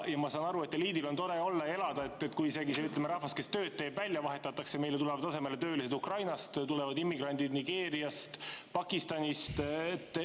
Ma saan aru, et eliidil on tore olla ja elada isegi siis, kui see rahvas, kes tööd teeb, välja vahetatakse töölistega Ukrainast, immigrantidega Nigeeriast ja Pakistanist.